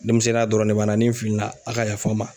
demisɛnninya dɔrɔn de b'an na, ni n filila a' ka yafa ma.